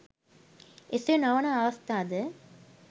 එසේ නොවන අවස්ථා ද